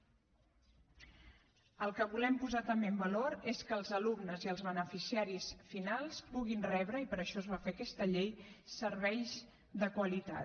el que volem posar també en valor és que els alumnes i els beneficiaris finals puguin rebre i per això es va fer aquesta llei serveis de qualitat